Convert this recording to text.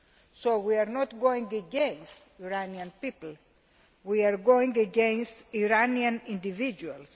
So we are not going against the Iranian people, we are going against Iranian individuals.